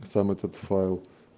сам этот файл